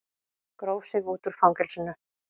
Gróf sig út úr fangelsinu